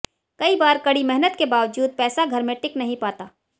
कई बार कड़ी मेहनत के बावजूद पैसा घर में टिक नहीं पाता